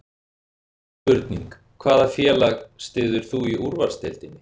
Spurning: Hvaða félag styður þú í Úrvalsdeildinni?